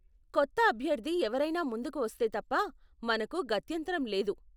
కొత్త అభ్యర్ధి ఎవరైనా ముందుకు వస్తే తప్ప, మనకు గత్యంతరం లేదు.